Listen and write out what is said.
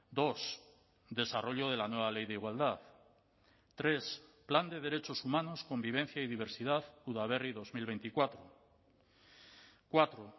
dos desarrollo de la nueva ley de igualdad tres plan de derechos humanos convivencia y diversidad udaberri dos mil veinticuatro cuatro